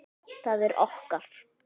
Það er okkar.